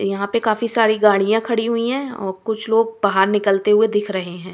यहाँ पे काफी सारी गाड़ियाँ खड़ी हुई हैं और कुछ लोग बाहर निकलते हुए दिख रहे हैं।